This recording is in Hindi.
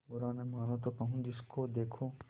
बुरा न मानों तो कहूँ जिसको देखो